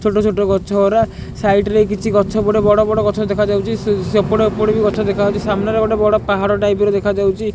ଛୋଟ ଛୋଟ ଗଛ ଗୁଡ଼ା ସାଇଡ ରେ କିଛି ଗଛ ବଡ ବଡ ଗଛ ଦେଖା ଯାଉଅଛି। ସେପଟେ ଏପଟ ବି ଗଛ ଦେଖା ଯାଉଛି। ସାମ୍ନାରେ ଗୋଟେ ବଡ ପାହାଡ ଟାଇପ୍ ର ଦେଖା ଯାଉଛି।